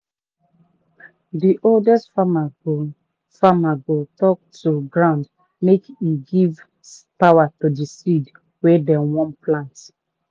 the oldest farmer go farmer go talk to ground make e give power to the seed wey dem plant.